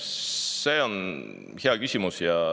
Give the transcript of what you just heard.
See on hea küsimus.